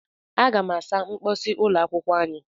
Aga m asa mposi ụlọ akwụkwọ anyị.